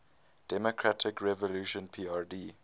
democratic revolution prd